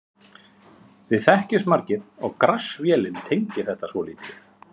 Við þekkjumst margir og Grass-vélin tengir þetta svolítið.